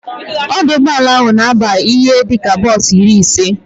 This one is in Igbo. Ọdụ ụgbọala ahụ na aba ihe dịka bos iri ise